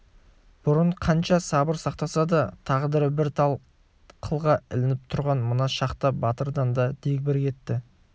бұрын қанша сабыр сақтаса да тағдыры бір тал қылға ілініп тұрған мына шақта батырдан да дегбір кетті